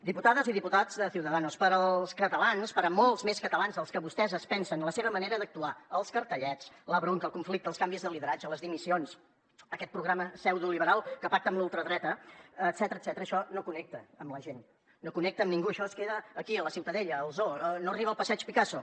diputades i diputats de ciudadanos pels catalans per molts més catalans dels que vostès es pensen la seva manera d’actuar els cartellets la bronca el conflicte els canvis de lideratge les dimissions aquest programa pseudoliberal que pacta amb la ultradreta etcètera això no connecta amb la gent no connecta amb ningú això es queda aquí a la ciutadella al zoo no arriba al passeig picasso